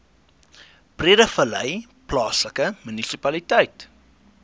breedevallei plaaslike munisipaliteit